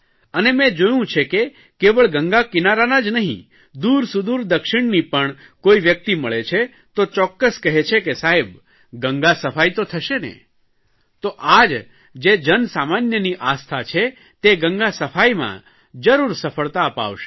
અને મેં જોયું છે કે કેવળ ગંગા કિનારાના જ નહીં દૂરસુદૂર દક્ષિણની પણ કોઇ વ્યકિત મળે છે તો ચોક્કસ કહે છે કે સાહેબ ગંગા સફાઇ તો થશેને તો આ જ જે જનસામાન્યની આસ્થા છે તે ગંગા સફાઇમાં જરૂર સફળતા અપાવશે